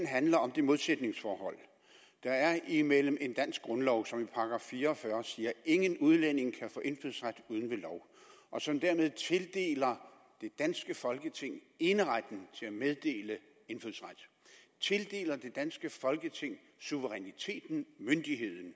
handler om det modsætningsforhold der er imellem en dansk grundlov som i § fire og fyrre siger at ingen udlænding kan få indfødsret uden ved lov og som dermed tildeler det danske folketing eneretten til at meddele indfødsret tildeler det danske folketing suveræniteten myndigheden